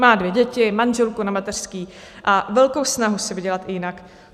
Má dvě děti, manželku na mateřské a velkou snahu si vydělat i jinak.